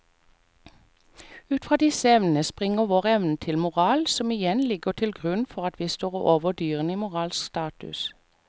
Ut fra disse evnene springer vår evne til moral som igjen ligger til grunn for at vi står over dyrene i moralsk status.